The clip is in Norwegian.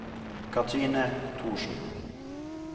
Cathrine Thorsen